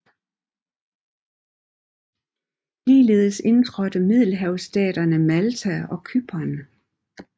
Ligeledes indtrådte middelhavsstaterne Malta og Cypern